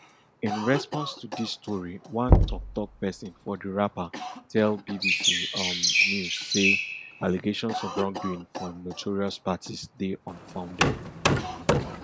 in response to dis story one toktok pesin for di rapper tell bbc um news say allegations of wrongdoing for im notorious parties dey unfounded